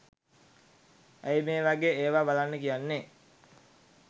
ඇයි මේ වගේ ඒවා බලන්න කියන්නෙ